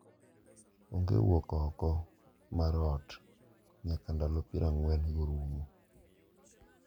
onge wuok oko mar ot nyaka ndalo pier ang'wen go orumo.